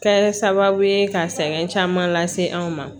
Kɛ sababu ye ka sɛŋɛn caman lase anw ma